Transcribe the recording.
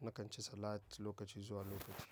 nakan ci salat lokaci zuwa lokaci.